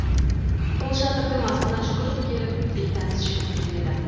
қолшатырдың астына жүгіріп келіп бейтаныс жігіт кіреді